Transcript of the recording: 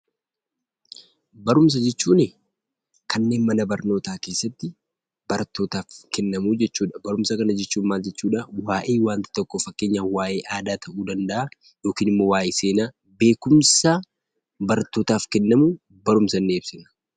Barumsa jechuun kanneen mana barnootaa keessatti barttootaaf kennamu jechuu dha. Barumsa kana jechuun waa'ee wanta tokkoo fakkeenyaaf waa'ee aadaa tokkoo yookiin immoo waa'ee Seenaa beekumsa barttootaaf kennamu barumsa jennee ibsina.